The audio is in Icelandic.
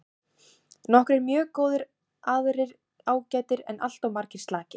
Nokkrir mjög góðir aðrir ágætir en alltof margir slakir.